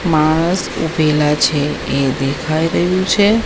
માણસ ઉભેલા છે એ દેખાય રહ્યુ છે.